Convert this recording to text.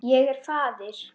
Ég er faðir.